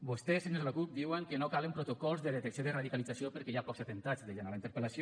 vostès senyors de la cup diuen que no calen protocols de detecció de radicalització perquè hi ha pocs atemptats deien a la interpel·lació